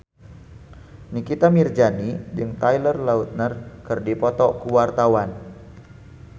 Nikita Mirzani jeung Taylor Lautner keur dipoto ku wartawan